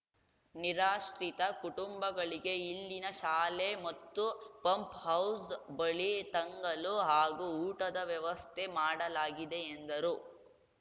ನಿರಾಶ್ರಿತ ಕುಟುಂಬಗಳಿಗೆ ಇಲ್ಲಿನ ಶಾಲೆ ಮತ್ತು ಪಂಪ್‌ಹೌಸ್‌ ಬಳಿ ತಂಗಲು ಹಾಗೂ ಊಟದ ವ್ಯವಸ್ಥೆ ಮಾಡಲಾಗಿದೆ ಎಂದರು